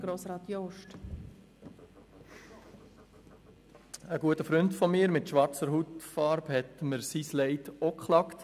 Ein guter Freund von mir mit schwarzer Hautfarbe hat mir ebenfalls sein Leid geklagt: